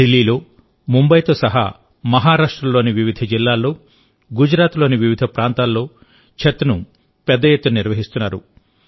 ఢిల్లీలో ముంబాయితో సహా మహారాష్ట్రలోని వివిధ జిల్లాల్లో గుజరాత్లోని వివిధ ప్రాంతాల్లో ఛత్ను పెద్ద ఎత్తున నిర్వహిస్తున్నారు